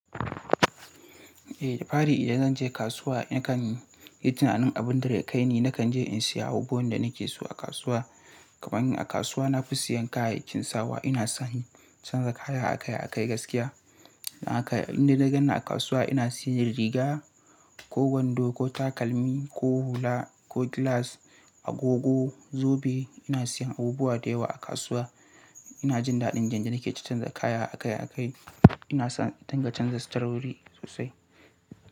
Eh, da fari idan zan je kasuwa nakan yi tunanin abin da zai kai ni. Nakan je in saya abubuwan da nake so a kasuwa. Kamanin a kasuwa na fi siyan kayayyakin sawa. Ina son canza kaya akai-akai gaskiya. Na kai na ganni a kasuwa ina siyan riga ko wando ko takalmi ko hula ko gilas, agogo, zobe. Ina siyan abubuwa da yawa a kasuwa. Ina jin daɗin jan janake ci canza kaya akai-akai. Ina son dangantakar saurayi sosai.